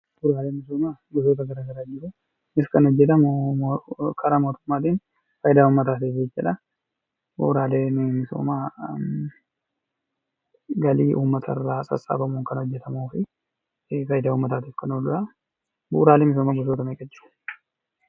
Bu'uuraalee misoomaa gosoota garaa garaatu jiru. Isaannis kanneen karaa mootummaatiin uummataaf oolaniidha. Bu'uuraaleen misoomaa galii uummata irraa sassabamuun maqaa jedhamuun faayidaa uummataaf kan ooluudha.